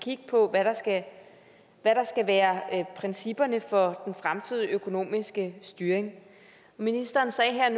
kigge på hvad der skal være principperne for den fremtidige økonomiske styring ministeren sagde at der er